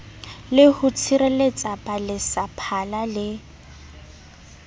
le ho tshireletsa baletsaphala le